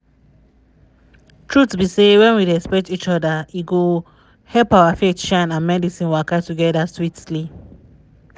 truth be say when we respect each other e go help our faith shine and medicine waka together sweetly.